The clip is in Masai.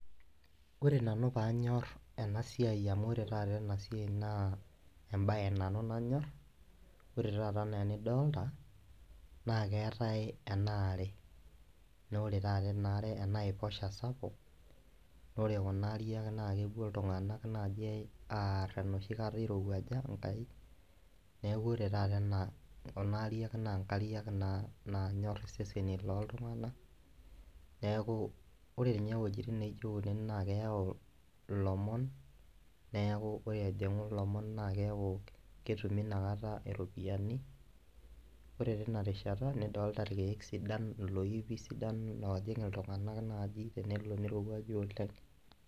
Ore nanu paanyor enasia amu ore enasia na embae nanu nanyorr. Ore taata anaa enidolita naa keetae enaare na ore taata enaiposha sapuk na ore kuna ariak na kepuo ltung'anak apuo aarr enoshikata irowuaja enkai. Neaku ore taata ena kunariak na nkariak nanyor iseseni loltunganak ,ore wuejitin naijo kunen na keyau ilomon neakubore ejingu lomon na ketumi inakata iropiyiani ore tinarishata nidolita loipi sidan ojing iltunganak naji tenelo nirowuaju oleng'.